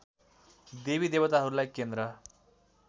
देवी देवताहरूलाई केन्द्र